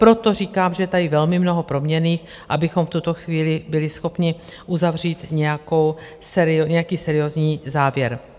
Proto říkám, že je tady velmi mnoho proměnných, abychom v tuto chvíli byli schopni uzavřít nějaký seriózní závěr.